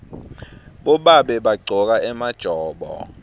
bobabe bagcoka emajobo